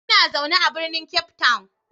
Ina zaune a birnin Cape Town.